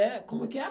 É, como que é?